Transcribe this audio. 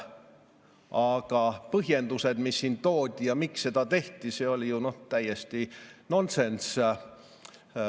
Aga põhjendused, mis siin toodi ja miks seda tehti – see oli ju täiesti nonsenss.